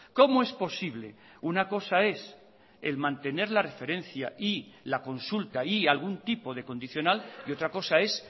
cómo es posible una cosa es el mantener la referencia y la consulta y algún tipo de condicional y otra cosa es